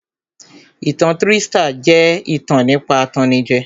Ìtan trístà jẹ́ ìtàn nípa atannijẹ